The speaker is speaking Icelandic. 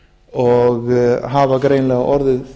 og hafa greinilega orðið